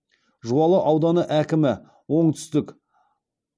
жуалы ауданы әкімі оңтүстік